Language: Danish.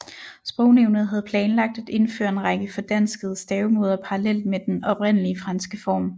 Sprognævnet havde planlagt at indføre en række fordanskede stavemåder parallelt med den oprindelige franske form